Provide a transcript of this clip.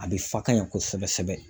A bɛ fa ka ɲɛ kosɛbɛ kosɛbɛ